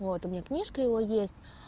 вот у меня книжка его есть